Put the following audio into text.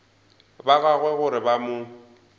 ba gagwe gore ba mo